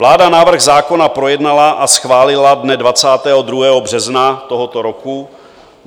Vláda návrh zákona projednala a schválila dne 22. března tohoto roku.